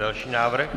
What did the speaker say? Další návrh.